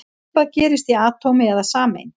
Svipað gerist í atómi eða sameind.